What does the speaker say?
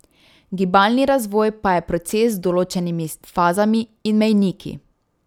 Gibalni razvoj pa je proces z določenimi fazami in mejniki.